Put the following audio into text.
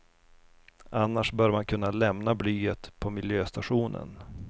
Annars bör man kunna lämna blyet på miljöstationen.